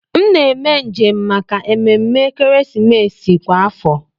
M na eme njem maka ememe ekeresimesi kwa afọ